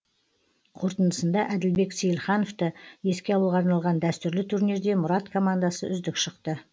қортындысында әділбек сейілхановты еске алуға арналған дәстүрлі турнирде мұрат командасы үздік шықты